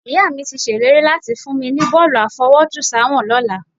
Ìyá mi ti ṣèlérí láti fún mi ní bọ́ọ̀lù àfọwọ́jùsáwọ̀n lọ́la